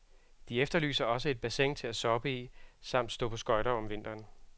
De efterlyser også et bassin til at soppe i samt stå på skøjter om vinteren.